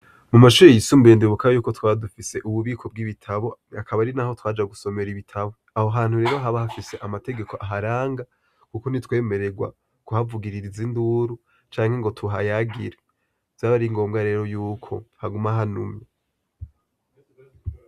Mu mashuri yisumbuye ndibuka yuko twadufise ububiko bw'ibitabo akaba ari na ho twaja gusomera ibitabo aho hantu rero haba hafise amategeko aharanga, kuko ntitwemererwa guhavugiririza induru canke ngo tuhayagire zabe ari ngombwa rero yuko hagumahanumye.